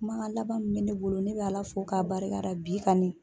Kumakan laban min bɛ ne bolo ne bɛ Ala fo k'a barikada bi kani